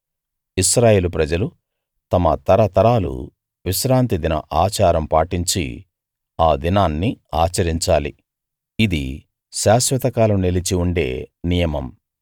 ఇశ్రాయేలు ప్రజలు తమ తరతరాలు విశ్రాంతి దిన ఆచారం పాటించి ఆ దినాన్ని ఆచరించాలి ఇది శాశ్వత కాలం నిలిచి ఉండే నియమం